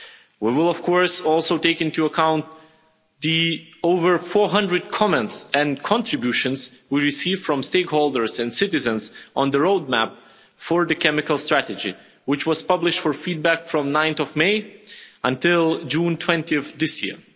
We will, of course, also take into account the over 400 comments and contributions we received from stakeholders and citizens on the roadmap for the chemical strategy, which was published for feedback from 9 May until 20 June of this year.